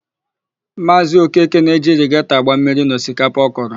Maazị Okeke na-eji irigetọ agba mmiri n'osikapa ọ kọrọ.